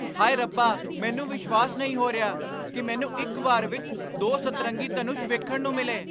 ਹਾਏ ਰੱਬਾ! ਮੈਨੂੰ ਵਿਸ਼ਵਾਸ ਨਹੀਂ ਹੋ ਰਿਹਾ ਕਿ ਮੈਨੂੰ ਇੱਕ ਵਾਰ ਵਿੱਚ ਦੋ ਸਤਰੰਗੀ ਧਨੁਸ਼ ਵੇਖਣ ਨੂੰ ਮਿਲੇ!